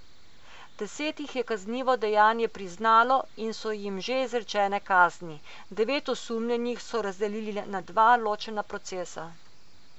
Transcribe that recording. Deset jih je kaznivo dejanje priznalo in so jim že izrečene kazni, devet osumljenih so razdelili na dva ločena procesa.